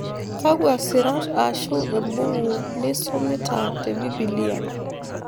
Kakwa sirat ashu embuku nisumita te Biblia